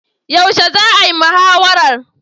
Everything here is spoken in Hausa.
Yaushe za'a yi muhawarar?